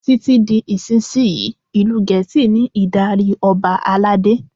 Títí di ìsinsìnyí, ìlú Gẹ̀ẹ́sì ní ìdarí Ọba aládé.